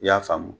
I y'a faamu